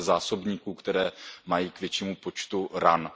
zásobníků, které mají k většímu počtu ran.